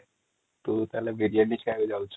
ତୁ ତାହେଲେ ବିରିୟଣୀ କହିବାକୁ ଯାଉଛୁ |